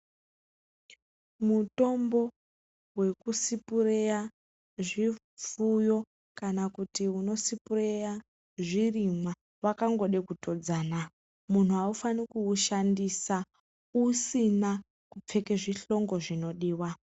Mutombo wekusupureya zvifuyo kana kuti unosipireya zvirimwa wakangoda kutodzana munhu aufaniri kushandisa usina kupfeka zvihlongo zvinodiwa.